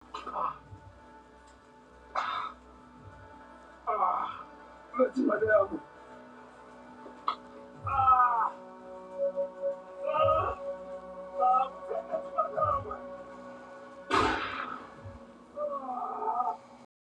A a va tshemba leswaku va va kan'we